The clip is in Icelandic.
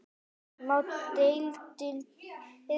Má deildin byrja bara?